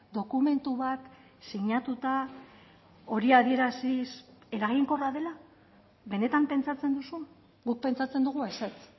dokumentu bat sinatuta hori adieraziz eraginkorra dela benetan pentsatzen duzu guk pentsatzen dugu ezetz